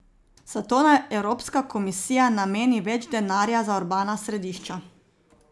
Zato naj Evropska komisija nameni več denarja za urbana središča.